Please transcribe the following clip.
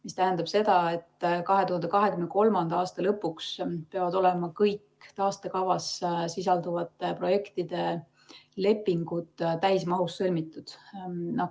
See tähendab seda, et 2023. aasta lõpuks peavad olema kõik taastekavas sisalduvate projektide lepingud täismahus sõlmitud.